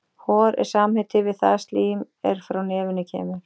Hor er samheiti yfir það slím er frá nefinu kemur.